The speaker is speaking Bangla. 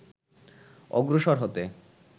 অগ্রসর হতে